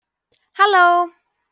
halló!